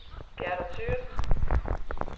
Gerda Thøgersen